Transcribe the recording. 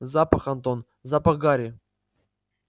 запах антон запах гари